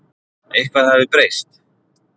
Eitthvað hafði breyst.